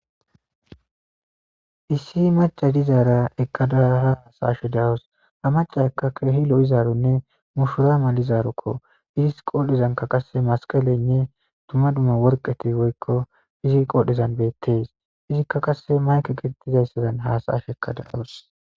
issi maca dizaara ekkadara hasaashe da'wos ha maca akka kehilo'izaaronne mushurama lizaarokko idis qodhdhizanka qase masqalenne dumma dumma worqeti woykko fizi qoodhizan beettees izikka qasse mayke gitettizayssadan hasaash ekkadayoos.